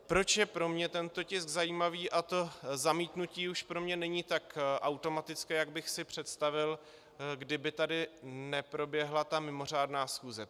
Proč je pro mě tento tisk zajímavý a to zamítnutí už pro mě není tak automatické, jak bych si představil, kdyby tady neproběhla ta mimořádná schůze?